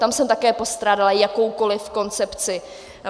Tam jsem také postrádala jakoukoliv koncepci.